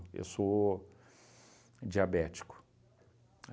Eu sou diabético.